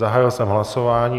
Zahájil jsem hlasování.